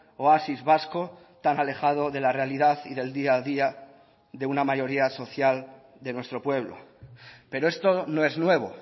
oasis vasco tan alejado de la realidad y del día a día de una mayoría social de nuestro pueblo pero esto no es nuevo